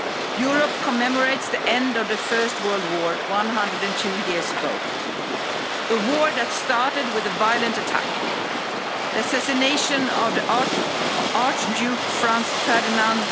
Day. Europe commemorates the end of the First World War 102 years ago a war that started with a violent attack the assassination of Archduke Franz Ferdinand